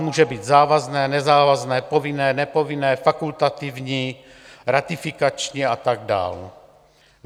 Může být závazné, nezávazné, povinné, nepovinné, fakultativní, ratifikační a tak dál.